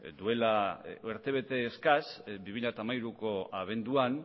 duela urtebete eskas bi mila hamairuko abenduan